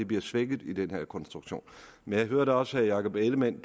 bliver svækket i den her konstruktion men jeg hørte også herre jakob ellemann